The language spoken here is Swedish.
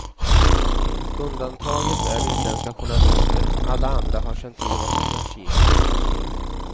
Undantaget är utländska journalister, alla andra har känt till vad som försiggick.